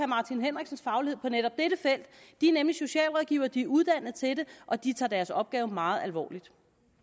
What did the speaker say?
martin henriksens faglighed på netop dette felt de er nemlig socialrådgivere de er uddannet til det og de tager deres opgave meget alvorligt